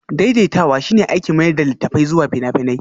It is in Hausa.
Daidaitawa shine aikin mayar da littattafai zuwa fina-finai